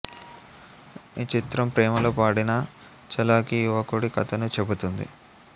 ఈ చిత్రం ప్రేమలో పడిన చలాకీ యువకుడి కథను చెబుతుంది